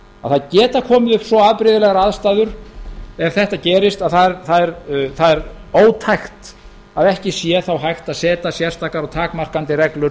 að það geta komið upp svo afbrigðilegar aðstæður ef þetta gerist að það er ótækt að ekki sá þá hægt að setja sérstakar og takmarkandi reglur